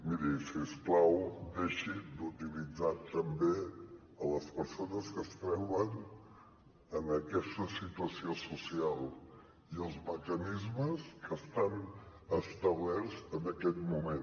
miri si us plau deixi d’utilitzar també les persones que es troben en aquesta situació social i els mecanismes que estan establerts en aquest moment